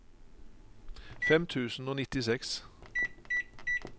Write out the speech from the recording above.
fem tusen og nittiseks